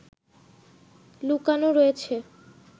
লুকানো রয়েছে